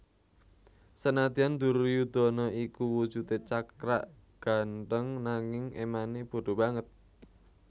Senadyan Duryudana iku wujude cakrak gantheng nanging emane bodho banget